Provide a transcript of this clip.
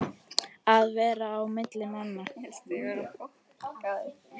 Að vera á milli manna!